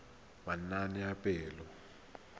manaanepalo